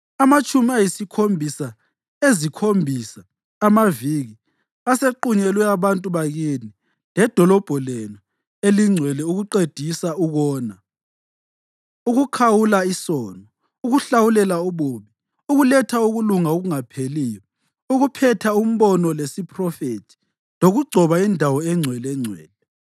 Amatshumi ayisikhombisa ‘ezikhombisa’ (amaviki) asequnyelwe abantu bakini ledolobho lenu elingcwele ukuqedisa ukona, ukukhawula isono, ukuhlawulela ububi, ukuletha ukulunga okungapheliyo, ukuphetha umbono lesiphrofethi lokugcoba indawo engcwelengcwele.